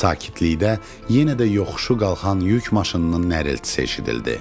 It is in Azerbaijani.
Sakitlikdə yenə də yoxuşu qalxan yük maşınının nərəltisi eşidildi.